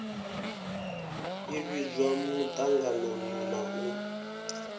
ḓi vhidzwa muṱanganoni na u